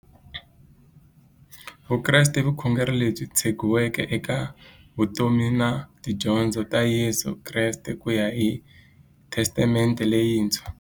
Vukreste i vukhongeri lebyi tshegiweke eka vutomi na tidyondzo ta Yesu Kreste kuya hi Testamente leyintshwa.